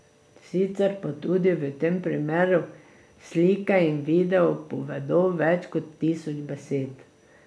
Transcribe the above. Sicer pa tudi v tem primeru slike in video povedo več kot tisoč besed.